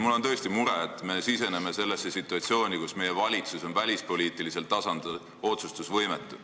Mul on tõesti mure, et me siseneme sellesse situatsiooni, kus meie valitsus on välispoliitilisel tasandil otsustusvõimetu.